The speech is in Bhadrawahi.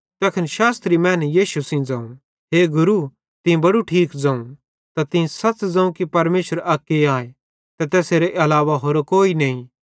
तैखन शास्त्री मैनू यीशु सेइं ज़ोवं हे गुरू तीं बड़ू ठीक ज़ोवं त तीं सच़ ज़ोवं कि परमेशर अक्के आए ते तैसेरे अलावा होरो कोई नईं